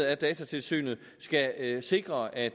af datatilsynet skal sikre at